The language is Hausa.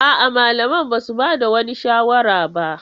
A'a, malaman ba su ba da wani shawara ba.